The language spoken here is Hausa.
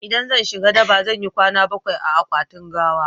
in zan shiga daba zan yi kwana bakwai a akwatin gawa